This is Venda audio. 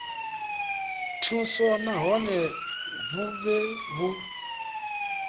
thuso nahone vhu vhe vhu